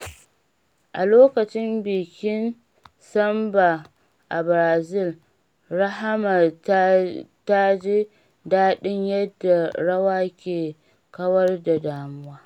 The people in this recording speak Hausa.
A lokacin bikin Samba a Brazil, Rahama ta ji daɗin yadda rawa ke kawar da damuwa.